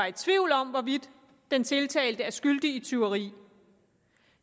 i tvivl om hvorvidt en tiltalt er skyldig i tyveri